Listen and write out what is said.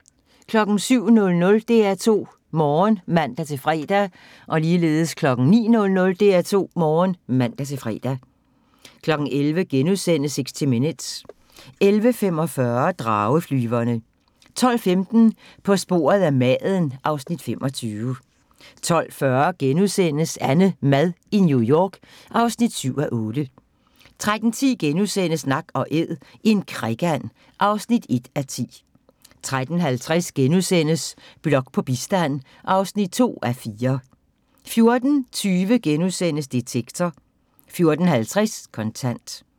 07:00: DR2 Morgen (man-fre) 09:00: DR2 Morgen (man-fre) 11:00: 60 Minutes * 11:45: Drageflyverne 12:15: På sporet af maden (Afs. 25) 12:40: AnneMad i New York (7:8)* 13:10: Nak & æd - en krikand (1:10)* 13:50: Blok på bistand (2:4)* 14:20: Detektor * 14:50: Kontant